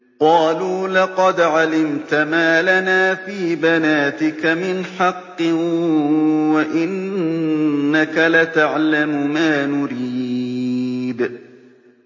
قَالُوا لَقَدْ عَلِمْتَ مَا لَنَا فِي بَنَاتِكَ مِنْ حَقٍّ وَإِنَّكَ لَتَعْلَمُ مَا نُرِيدُ